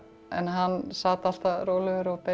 en hann sat alltaf rólegur og beið